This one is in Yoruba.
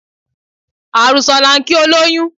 Àrùsọ̀ la ń kí olóyún